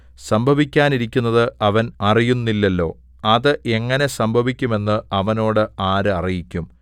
സംഭവിക്കാനിരിക്കുന്നത് അവൻ അറിയുന്നില്ലല്ലോ അത് എങ്ങനെ സംഭവിക്കും എന്ന് അവനോട് ആര് അറിയിക്കും